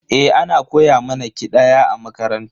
Eh, ana koya mana ƙidaya a makaranta.